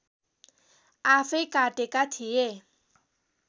आफैँ काटेका थिए